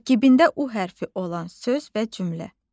Tərkibində u hərfi olan söz və cümlə.